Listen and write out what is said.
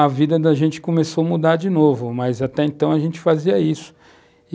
a vida da gente começou a mudar de novo, mas até então a gente fazia isso.